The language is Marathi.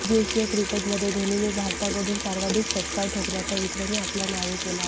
एकदिवसीय क्रिकेटमध्ये धोनीने भारताकडून सर्वाधिक षटकार ठोकण्याचा विक्रमही आपल्या नावे केला आहे